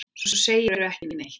Svo segirðu ekki neitt.